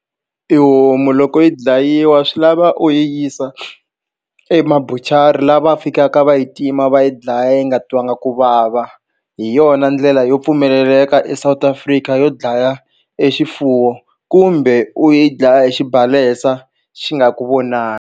I homu loko yi dlayiwa swi lava u yi yisa emabuchari laha va fikaka va yi tima va yi dlaya yi nga twa nga ku vava hi yona ndlela yo pfumeleleka eSouth Africa yo dlaya exifuwo kumbe u yi dlaya hi xibalesa xi nga ku vonangi.